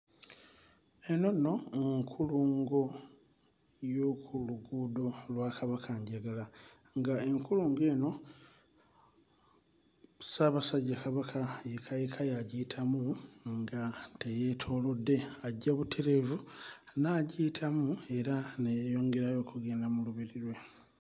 Eno nno nkulungo y'oku luguudo lwa Kabakanjagala nga enkulungo eno Ssaabasajja Kabaka yekka yekka y'agiyitamu nga teyeetoolodde ajja butereevu n'agiyitamu era ne yeeyongerayo okugenda mu lubiri lwe.